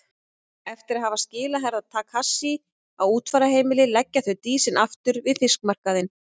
Eftir að hafa skilað Herra Takashi á útfararheimilið leggja þau Dísinni aftur við fiskmarkaðinn.